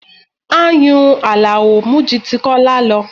Ayùn Alao mú ju ti Kola lọ